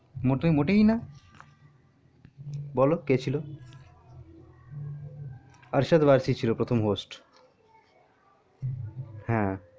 মোটে মোটেই না বোলো কে ছিল আশুতোষ বার্ষি ছিল প্রথম host হে